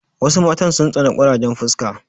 Wasu matan sun tsani ƙurajen fuska.